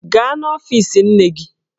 Gaa n'ọfiisi nne gị!